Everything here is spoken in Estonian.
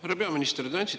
Härra peaminister!